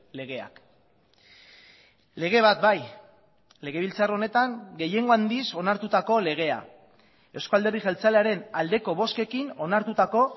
legeak lege bat bai legebiltzar honetan gehiengo handiz onartutako legea euzko alderdi jeltzalearen aldeko bozkekin onartutako